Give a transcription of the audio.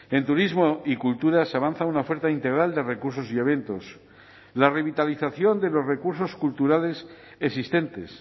en turismo y cultura se avanza una oferta integral de recursos y eventos la revitalización de los recursos culturales existentes